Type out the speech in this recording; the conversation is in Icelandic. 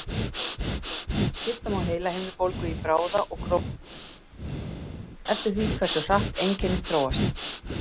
Skipta má heilahimnubólgu í bráða og króníska heilahimnubólgu eftir því hversu hratt einkennin þróast.